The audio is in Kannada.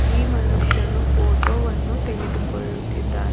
ಈ ಮನುಷ್ಯನು ಫೋಟೋ ವನ್ನು ತೆಗೆದುಕೊಳ್ಳುತ್ತಿದ್ದಾನ್--